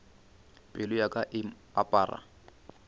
pelo ya ka e apara